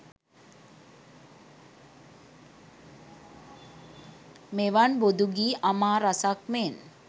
මෙවන් බොදු ගීඅමා රසක් මෙන්